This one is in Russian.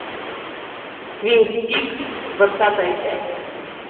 твин пикс двадцатая часть